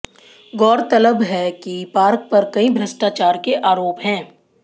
गौरतलब है कि पार्क पर कई भ्रष्टाचार के आरोप हैं